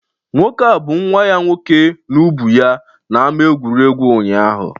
Nwoke a bu nwa ya nwoke n'ubu ya n'ama egwuregwu ụnyahụ